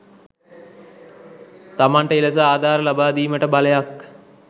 තමන්ට එලෙස ආධාර ලබා දීමට බලයක්